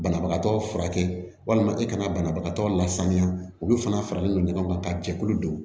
Banabagatɔ furakɛ walima e kana banabagatɔ lasaniya olu fana faralen don ɲɔgɔn kan ka jɛkulu don